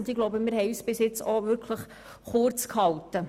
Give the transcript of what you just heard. Wir haben bisher versucht, uns kurz zu halten.